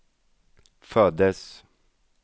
föddes